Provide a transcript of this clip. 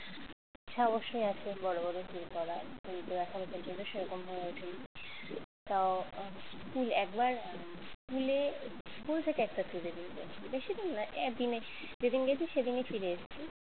ইচ্ছা অবশ্যই আছে বড় বড় tour করার কিন্তু এখনো পর্যন্ত সেরকম হয়ে ওঠেনি তাও school একবার school এ school থেকে একটা tour এ নিয়ে গেছিল বেশি দূর না একদিনের যেদিন গেছে সেদিনই ফিরে এসেছি